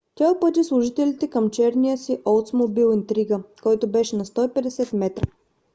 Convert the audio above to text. тя упъти служителите към черния си олдсмобил интрига който беше на 150 метра